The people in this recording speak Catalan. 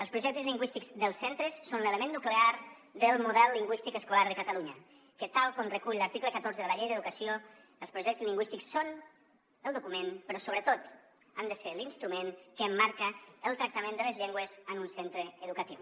els projectes lingüístics dels centres són l’element nuclear del model lingüístic escolar de catalunya que tal com recull l’article catorze de la llei d’educació els projectes lingüístics són el document però sobretot han de ser l’instrument que marca el tractament de les llengües en un centre educatiu